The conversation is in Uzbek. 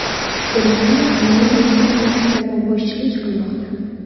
Germaniya hamon reytingda karvonboshilik qilmoqda.